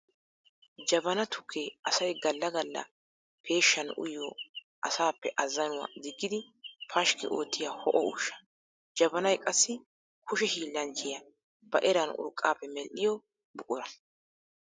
Jabana tukke asay galla galla peeshshan uyiyo asaappe azanuwa diggidi pashkki oottiyo ho'o ushsha. Jabanay qassi kushe hiillanchchiya ba eran urqqappe medhdhiyo buqura.